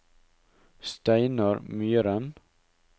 Steinar Myhren